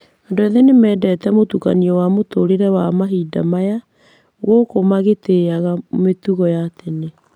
Andũ ethĩ nĩ mendete mũtukanio wa mũtũũrĩre wa mahinda maya gũkũ magĩtĩaga mĩtugo ya tene.